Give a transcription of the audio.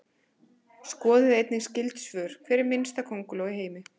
Skoðið einnig skyld svör: Hver er minnsta könguló í heimi?